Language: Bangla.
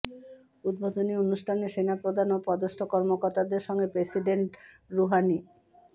উদ্বোধনী অনুষ্ঠানে সেনাপ্রধান ও পদস্থ কর্মকর্তাদের সঙ্গে প্রেসিডেন্ট রুহানি